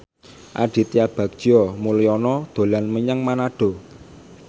Aditya Bagja Mulyana dolan menyang Manado